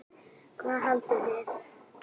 Hvað haldið þið!